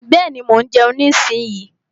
Bẹ́ẹ̀ni, mo ń jeun nísinyí.